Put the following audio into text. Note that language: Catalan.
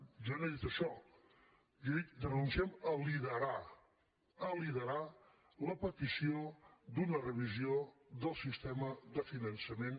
jo no he dit això jo he dit renunciem a liderar a liderar la petició d’una revisió del sistema de finançament